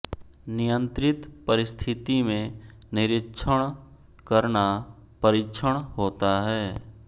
नियंत्रित परिस्थिति में निरीक्षण करना परीक्षण होता है